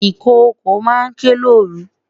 Ikoko ma n ke loru